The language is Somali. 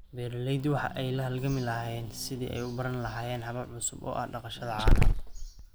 Beeraleydu waxa ay la halgamayaan sidii ay u baran lahaayeen habab cusub oo ah dhaqashada caanaha.